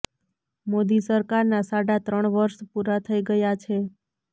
મોદી સરકારના સાડા ત્રણ વર્ષ પૂરા થઈ ગયા છે